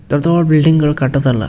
ದೊಡ್ಡ್ ದೊಡ್ಡ್ ಬಿಲ್ಡಿಂಗ್ಗಳ್ ಕಟ್ಟದ್ ಅಲ್ಲ --